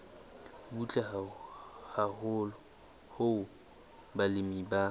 butle haholo hoo balemi ba